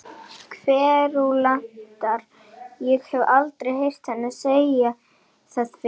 Kverúlantar- ég hef aldrei heyrt hana segja það fyrr.